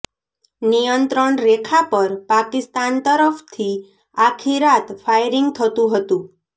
નિયંત્રણ રેખા પર પાકિસ્તાન તરફથી આખી રાત ફાયરિંગ થતું હતું